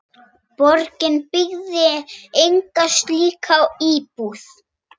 Bygging þess er langt komin.